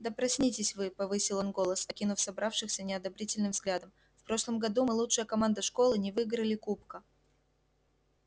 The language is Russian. да проснитесь вы повысил он голос окинув собравшихся неодобрительным взглядом в прошлом году мы лучшая команда школы не выиграли кубка